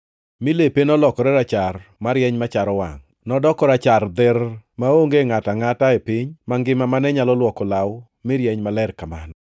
mi lepe nolokore rachar marieny macharo wangʼ, nodoko rachar dherr maonge ngʼato angʼata e piny mangima mane nyalo luoko law mi rieny maler kamano.